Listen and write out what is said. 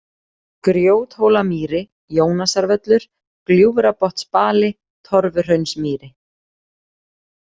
Grjóthólamýri, Jónasarvöllur, Gljúfrabotnsbali, Torfuhraunsmýri